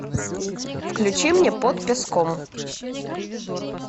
включи мне под песком